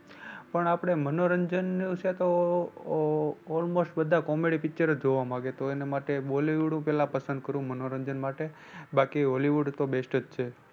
પણ આપણે મનોરંજનનું છે તો almost બધા comedy picture જ જોવા માગે તો એના માટે bollywood હું પહેલા પસંદ કરું મનોરંજન માટે બાકી hollywood તો best જ છે.